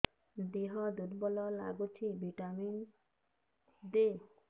ଦିହ ଦୁର୍ବଳ ଲାଗୁଛି ଭିଟାମିନ ଦେ